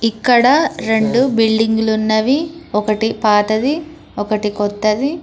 ఇక్కడ రెండు బిల్డింగులు ఉన్నవి ఒకటీ పాతది ఒకటి కొత్తది.